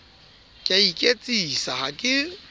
ke a iketsisa ha ke